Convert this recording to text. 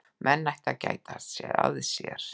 Menn ættu að gæta að sér.